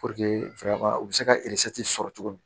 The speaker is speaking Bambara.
fɛ ka u bɛ se ka sɔrɔ cogo min